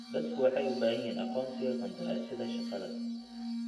Dadku waxay u baahan yihiin aqoonsiga qandaraasyada shaqada.